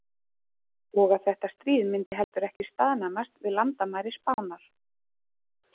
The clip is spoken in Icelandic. Og að þetta stríð myndi heldur ekki staðnæmast við landamæri Spánar.